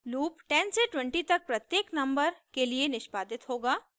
loop 10 से 20 तक प्रत्येक नंबर के लिए निष्पादित होगा